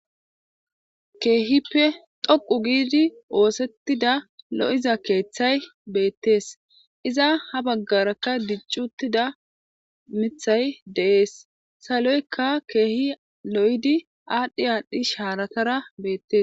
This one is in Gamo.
Keehippe doqu giidi oosettida lo'iza keeththay beettees iza ha baggarakka diccuttida mithay deees saloykka keehi lo'di aadhdhi aadhdhi haaratara beettes.